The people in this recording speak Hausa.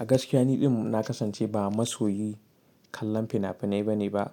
A gaskiya niɗin na ƙasance ba masoyi kallon fina-finai bane ba,